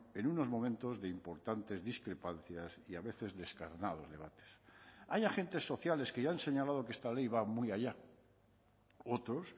en unos momentos de importantes discrepancias y a veces descarnados debates hay agentes sociales que ya han señalado que esta ley va muy allá otros